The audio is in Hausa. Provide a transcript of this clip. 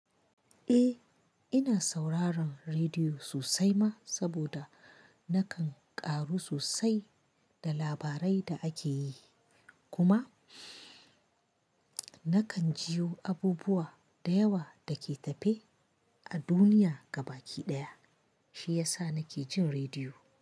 Eh, ina sauraron rediyo sosai ma saboda nakan ƙaru sosai da labarai da ake yi kuma nakan jiyo abubuwa da yawa dake tafe a duniya gabaki ɗaya shi yasa nake jin rediyo.